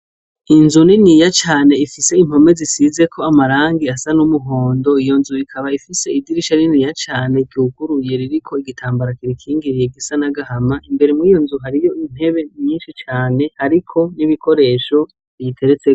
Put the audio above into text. Inzu niniya cane ifise impome zisizeko amarangi asa numuhondo , iyo nzu ikaba ifise idirisha rininiya cane ryuguruye ririko igitambara kiyikingiriye gisa nagahama , imbere muriyo nzu hariyo ziriko nibikoresho ziziteretseko